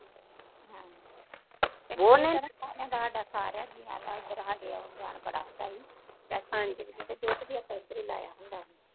ਹਮ ਹਾਡੇ ਸਾਰਿਆ ਜੀਆਂ ਦਾ ਇਧਰ ਹਾਡੇ ਉਣ ਜਾਣ ਬਹੁਤ ਹੁੰਦਾ ਸੀ ਦੁੱਧ ਵੀ ਆਪਾ ਇਧਰ ਹੀ ਲਾਇਆ ਹੁੰਦੀ ਹੀ